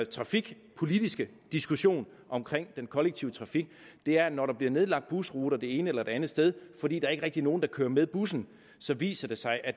trafikpolitiske diskussion om den kollektive trafik er at når der bliver nedlagt busruter det ene eller det andet sted fordi der ikke rigtig er nogen der kører med bussen så viser det sig at